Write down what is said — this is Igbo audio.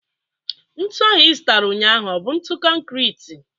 Ntụ ahụ ị zụtara ụnyaahụ ọ bụ ntụ konkrit?